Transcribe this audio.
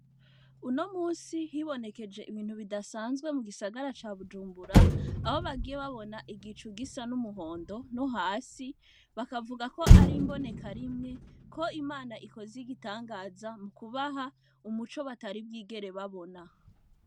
Unomunsi hibonekesheje ibintu bidasanzwe mugisagara ca Bujumbura Aho bagiye babona igicu gisan'umuhondo nohasi bakavuga KO ari imbonekarimwe Imana ikoze ibitangaza, mukubaha umuco batari bwigere babona.